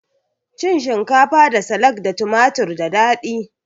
Cin shinkafa da salak da tumatur da dadi